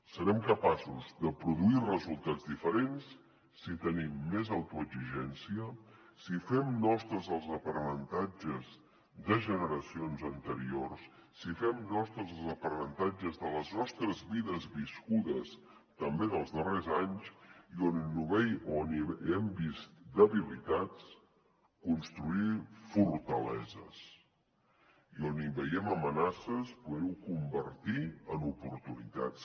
serem capaços de produir resultats diferents si tenim més autoexigència si fem nostres els aprenentatges de generacions anteriors si fem nostres els aprenentatges de les nostres vides viscudes també en els darrers anys i on hi hem vist debilitats construir fortaleses i on hi veiem amenaces poder ho convertir en oportunitats